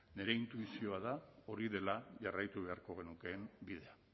nire intuizioa da hori dela jarraitu beharko genukeen bidea